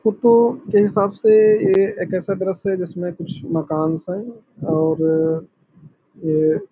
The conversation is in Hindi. फोटो के हिसाब से ये एक ऐसा दृश्य है जिसमें कुछ मकान-सा है और ये --